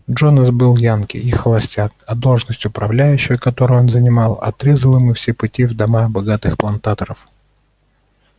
джонас был янки и холостяк а должность управляющего которую он занимал отрезала ему все пути в дома богатых плантаторов